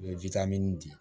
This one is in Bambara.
U ye di